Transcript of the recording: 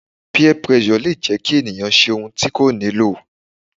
Peer pressure le jẹ́ kí ènìyàn ṣe ohun tí kò nílò.